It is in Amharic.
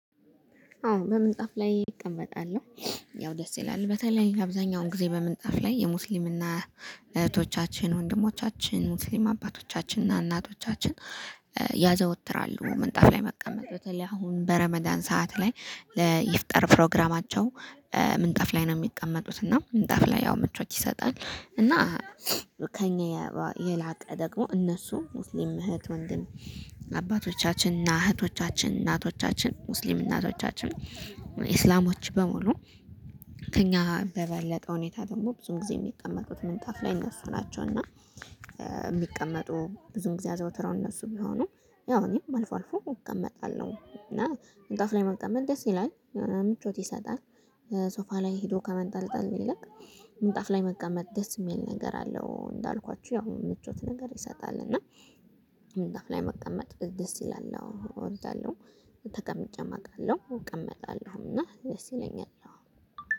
አዎ በምንጣፍ ላይ እቀመጣለሁ። ያው ደስ ይላል በተለይ አብዛኛውን ጊዜ በምንጣፍ ላይ የሙስሊምና እህቶቻችን ወንድሞቻችን ሙስሊም አባቶቻችን እና እናቶቻችን። ያዘወትራሉ ምንጣፍ ላይ መቀመጥ በተለይ አሁን በረመዳን ሰዓት ላይ ለይፍጠር ፕሮግራማቸው ምንጣፍ ላይ ነው የሚቀመጡት። እና ምንጣፍ ላይ ያው ምቾት ይሰጣል እና። ከእኛ የላቀ ደግሞ እነሱ ሙስሊም እህት ወንድም አባቶቻችንና እህቶቻችን እናቶቻችን ሙስሊም እናቶቻችን እስላሞች በሙሉ። ከእኛ በበለጠ ሁኔታ ደግሞ ብዙ ጊዜ የሚቀመጡት ምንጣፍ ላይ እነሱ ናቸው። እና የሚቀመጡ ብዙም ጊዜ አዘውትረው እነሱ ቢሆኑ ያው እኔም አልፎ አልፎ እቀመጣለሁ። እና ምንጣፍ ላይ መቀመጥ ደስ ይላል ምቾት ይሰጣል። ሶፋ ላይ ሄዶ ከመንጠልጠል ይልቅ ምንጣፍ ላይ መቀመጥ ደስ የሚል ነገር አለው። እንዳልኳችሁ ያው ምቾት ነገር ይሰጣል እና። ምንጣፍ ላይ መቀመጥ ደስ ይላል እወዳለሁ ተቀምጨም አቃለሁ እቀመጣለሁምና ደስ ይለኛል